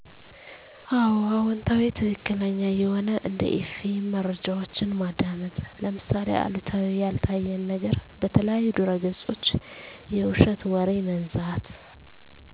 አዎ አዎንታዊ ትክክለኛ የሆነ እንደ ኤፍኤም መረጃዎችን ማዳመጥ ለምሳሌ አሉታዊ ያልታየን ነገር በተለያዩ ድረገፆች የዉሸት ወሬ መንዛት